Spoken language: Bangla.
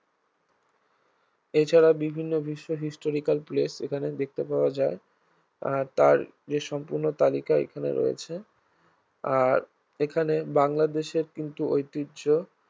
এছাড়া বিভিন্ন বিশ্ব historical place এখানে দেখতে পাওয়া যায় আর তার যে সম্পূর্ণ তালিকা এখানে রয়েছে আর এখানে বাংলাদেশের কিন্তু ঐতিহ্য